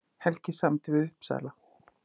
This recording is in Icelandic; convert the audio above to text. Helgi samdi við Uppsala